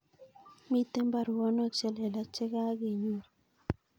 Miten baruonok chelelach chegagenyoru